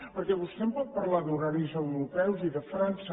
perquè vostè em pot parlar d’horaris europeus i de frança